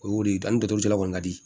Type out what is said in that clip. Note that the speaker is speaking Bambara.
O y'o de ye danni dɔgɔtɔrɔso la kɔni ka di